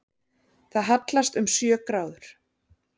Það hallast um sjö gráður